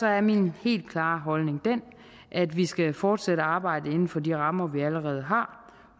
er min helt klare holdning den at vi skal fortsætte arbejdet inden for de rammer vi allerede har